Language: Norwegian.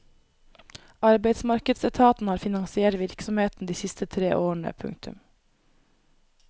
Arbeidsmarkedsetaten har finansiert virksomheten de siste tre årene. punktum